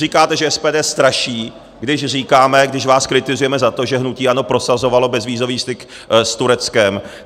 Říkáte, že SPD straší, když říkáme, když vás kritizujeme za to, že hnutí ANO prosazovalo bezvízový styk s Tureckem.